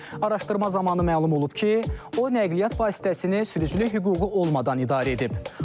Araşdırma zamanı məlum olub ki, o nəqliyyat vasitəsini sürücülük hüququ olmadan idarə edib.